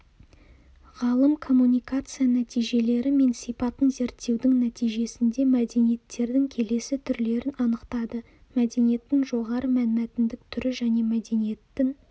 ғалым коммуникация нәтижелері мен сипатын зерттеудің нәтижесінде мәдениеттердің келесі түрлерін анықтады мәдениеттің жоғары мәнмәтіндік түрі және мәдениеттің